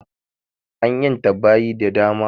An ƴanta baƴi da dama